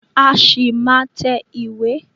A ṣì máa má tẹ ìwé.